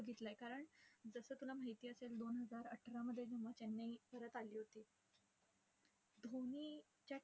कारण, जसं तुला माहिती असेल दोन हजार अठरामध्ये जेव्हा चेन्नई परत आली होती. धोनी च्या